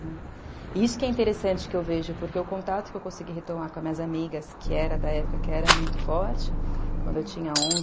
E isso que é interessante que eu vejo, porque o contato que eu consegui retomar com as minhas amigas, que era da época que era muito forte, quando eu tinha onze